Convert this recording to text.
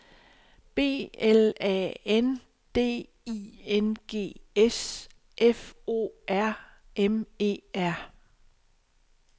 B L A N D I N G S F O R M E R